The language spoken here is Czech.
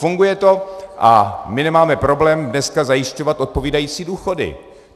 Funguje to a my nemáme problém dneska zajišťovat odpovídající důchody.